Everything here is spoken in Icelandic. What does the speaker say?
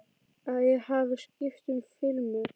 Að ég hafi skipt um filmu.